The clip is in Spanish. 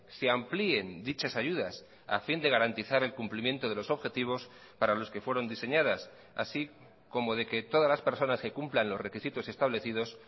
se amplíen dichas ayudas a fin de garantizar el cumplimiento de los objetivos para los que fueron diseñadas así como de que todas las personas que cumplan los requisitos establecidos